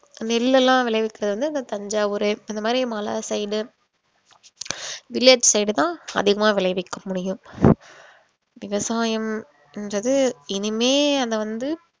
நெல்லுலாம் விளைவிக்கிறது வந்து அந்த தஞ்சாவூரு அந்த மாதிரி மலை side village side தான் அதிகமா விளைவிக்க முடியும் விவசாயம்ன்றது இனிமே அத வந்து